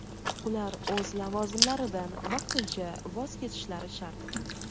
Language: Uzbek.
ular o‘z lavozimlaridan vaqtincha voz kechishlari shart.